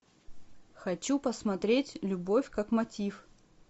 хочу посмотреть любовь как мотив